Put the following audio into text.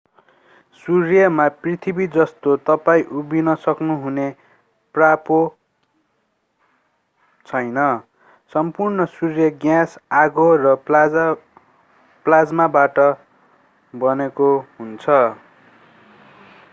सूर्यमा पृथ्वी जस्तो तपाईं उभिन सक्नुहुने पाप्रो छैन सम्पूर्ण सूर्य ग्यास आगो र प्लाज्माबाट बनेको हुन्छ